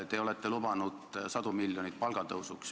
Te olete lubanud sadu miljoneid palgatõusudeks.